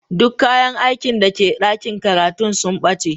Duk kayan aikin da ke dakin karatun sun bace.